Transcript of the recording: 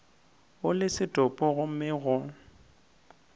o le setopo gomme go